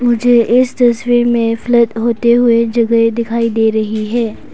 मुझे इस तस्वीर में फ्लैड होते हुए जगह दिखाई दे रही है।